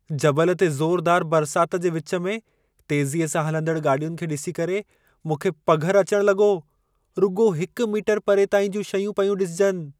जबल ते ज़ोरदार बरसात जे विच में तेज़ीअ सां हलंदड़ गाॾियुनि खे ॾिसी करे मूंखे पघर अचणु लॻो। रुॻो हिक मीटर परे ताईं जूं शयूं पयूं ॾिसिजनि।